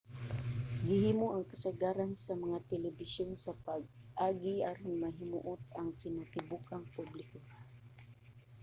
gihimo ang kasagaran sa mga telebisyon sa paagi aron mahimuot ang kinatibuk-ang publiko